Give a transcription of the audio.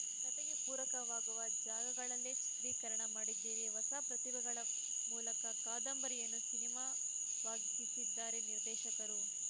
ಕತೆಗೆ ಪೂರಕವಾಗುವ ಜಾಗಗಳಲ್ಲೇ ಚಿತ್ರೀಕರಣ ಮಾಡಿದ್ದೇವೆ ಹೊಸ ಪ್ರತಿಭೆಗಳ ಮೂಲಕ ಕಾದಂಬರಿಯನ್ನು ಸಿನಿಮಾವಾಗಿಸಿದ್ದಾರೆ ನಿರ್ದೇಶಕರು